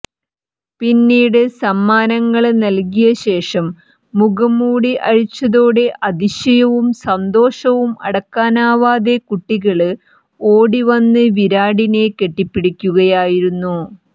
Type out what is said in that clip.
പിന്നീട് സമ്മാനങ്ങള് നല്കിയ ശേഷം മുഖം മൂടി അഴിച്ചതോടെ അതിശയവും സന്തോഷവും അടക്കാനാവാതെ കുട്ടികള് ഓടിവന്ന് വിരാടിനെ കെട്ടിപ്പിടിക്കുകയായിരുന്നു